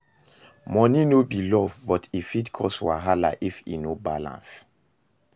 Money no be love, but e fit cause wahala if e no balance